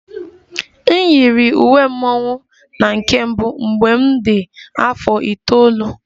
M yiri uwe mmọnwụ na nke mbụ mgbe m dị afọ itoolu